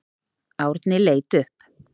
Árni leit upp.